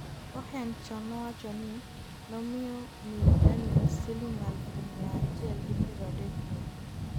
Cohen chon nowacho ni nomiyo miyo Daniels siling aluf miya achiel gi piero adek meke